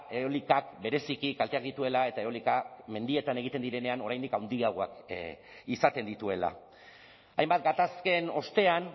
eta eolikak bereziki kalteak dituela eta eolikak mendietan egiten direnean oraindik handiagoak izaten dituela hainbat gatazken ostean